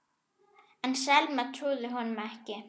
En Selma trúði honum ekki.